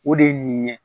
O de ye nin ye